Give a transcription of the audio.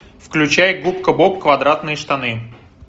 включай губка боб квадратные штаны